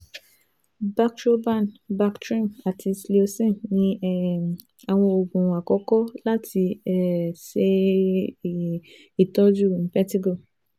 Bactroban, Bactrim ati Cleocin ni um awọn oogun akọkọ lati um ṣe um itọju impetigo